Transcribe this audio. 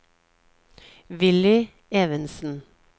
Villy Evensen